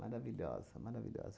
Maravilhosa, maravilhosa.